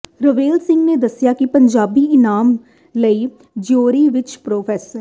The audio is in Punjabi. ਰਵੇਲ ਸਿੰਘ ਨੇ ਦੱਸਿਆ ਕਿ ਪੰਜਾਬੀ ਇਨਾਮ ਲਈ ਜਿਊਰੀ ਵਿੱਚ ਪ੍ਰੋ